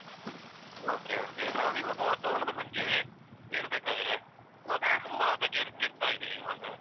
Okay okay ನಾವಿವಾಗ ವಾತಾವರಣದ ಬಗ್ಗೆ ಹೇಳ್ಬೇಕಾದ್ರೆ. ವಾತಾವರಣ ಹದಗೆಡ್ತಾ ಇದೆ ಇವಾಗ.